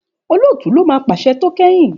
Òlótú lọ má pàṣẹ tó kẹyìn.